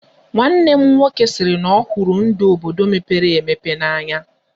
Nwanne m nwoke sịrị na ọhụrụ ndụ obodo mepere emepe n'anya.